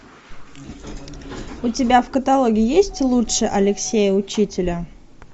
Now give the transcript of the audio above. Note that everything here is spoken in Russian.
у тебя в каталоге есть лучше алексея учителя